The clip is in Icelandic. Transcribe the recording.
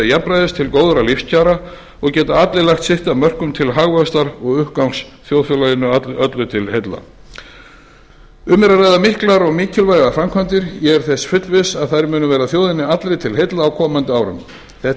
jafnræðis til góðra lífskjara og geta allir lagt sitt að mörkum til hagvaxtar og uppgangs þjóðfélaginu öllu til heilla um er að ræða miklar og mikilvægar framkvæmdir ég er þess fullviss að þær munu verða þjóðinni allri til heilla á komandi árum þetta